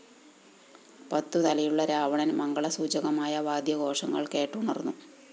പത്തുതലയുള്ള രാവണന്‍ മംഗളസൂചകമായ വാദ്യഘോഷങ്ങള്‍ കേട്ടുണര്‍ന്നു